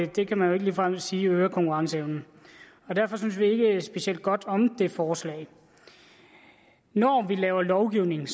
det kan man jo ikke ligefrem sige øger konkurrenceevnen derfor synes vi ikke specielt godt om det forslag når vi laver lovgivning